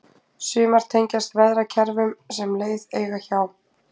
sumar tengjast veðrakerfum sem leið eiga hjá